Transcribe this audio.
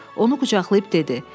Onu qucaqlayıb dedi: